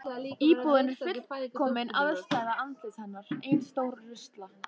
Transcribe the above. Íbúðin er fullkomin andstæða andlits hennar: Ein stór rusla